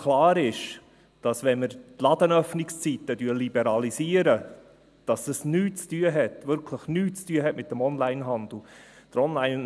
Klar ist aber, dass wenn wir die Ladenöffnungszeiten liberalisieren, dies nichts – wirklich nichts – mit dem Onlinehandel zu tun hat.